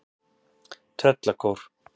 Tröllakór